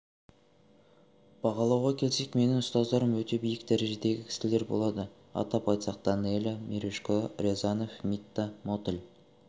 бағалауға келсек менің ұстаздарым өте биік дәрежедегі кісілер болды атап айтсақ данелия мережко рязанов митта мотыль